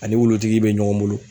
Ani wulutigi be ɲɔgɔn bolo.